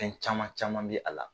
Fɛn caman caman bɛ a la.